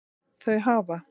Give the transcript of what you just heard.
Þau hafa